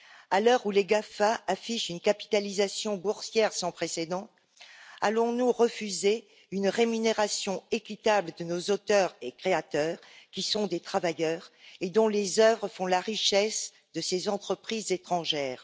À l'heure où les GAFA affichent une capitalisation boursière sans précédent, allons nous refuser une rémunération équitable de nos auteurs et de nos créateurs, qui sont des travailleurs et dont les œuvres font la richesse de ces entreprises étrangères?